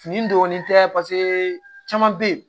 Fini dɔɔnin tɛ caman bɛ yen